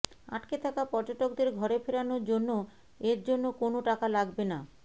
আটকে থাকা পর্যটকদের ঘরে ফেরানোর জন্য এর জন্য কোনও টাকা লাগবে না